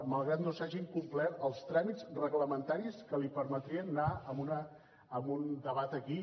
malgrat que no s’hagin complert els tràmits reglamentaris que li permetrien anar a un debat aquí